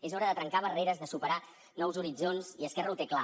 és hora de trencar barreres de superar nous horitzons i esquerra ho té clar